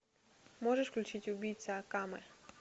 можешь включить убийца акаме